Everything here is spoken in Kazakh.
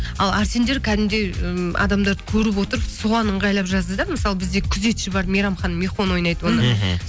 ал арсендер кәдімгідей ммм адамдарды көріп отырып соған ыңғайлап жазды да мысалы бізде күзетші бар мейрамхананың михон ойнайды оны мхм